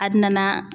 A bina na